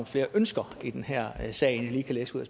flere ønsker i den her sag end jeg lige kan læse ud